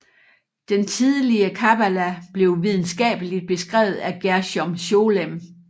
Den tidlige Kabbala blev videnskabeligt beskrevet af Gershom Sholem